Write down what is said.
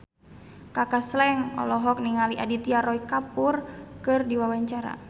Kaka Slank olohok ningali Aditya Roy Kapoor keur diwawancara